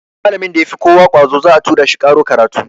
Malamin da ya fi kowa ƙwazo za a tura shi ƙaro karatu.